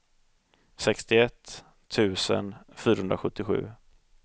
sextioett tusen fyrahundrasjuttiosju